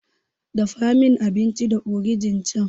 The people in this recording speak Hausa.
Dafa min abinci da ogirin can.